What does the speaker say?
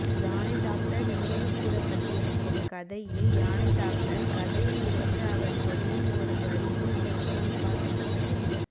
யானைடாக்டர் நினைவுகூரப்பட்டிருக்கும் கதையில் யானைடாக்டர் கதையில் இருந்து அவர் சொல்லும் ஒரு வரியும் மேற்கோள் காட்டப்பட்டுள்ளது